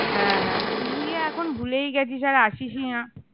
হ্যাঁ হ্যাঁ তুই এখন ভুলেই গেছিস আর আসিস ই না